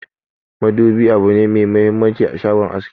Madubi abune me muhimmanci a shagon aski.